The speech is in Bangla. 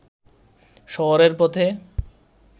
শহরের পথে